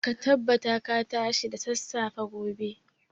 Ka tabbata ka tashi da sassafe gobe.